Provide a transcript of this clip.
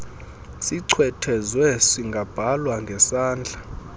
sichwethezwe singabhalwa ngesandla